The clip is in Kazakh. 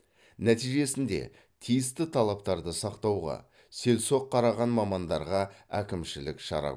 нәтижесінде тиісті талаптарды сақтауға селсоқ қараған мамандарға әкімшілік шара